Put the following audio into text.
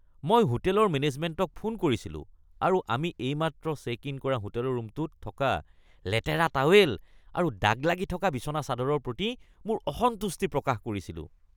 মই হোটেলৰ মেনেজমেণ্টক ফোন কৰিছিলো আৰু আমি এইমাত্ৰ চেক-ইন কৰা হোটেল ৰুমটোত থকা লেতেৰা টাৱেল আৰু দাগ লাগি থকা বিচনা চাদৰৰ প্ৰতি মোৰ অসন্তুষ্টি প্ৰকাশ কৰিছিলো।